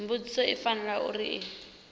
mbudziso i fanela uri i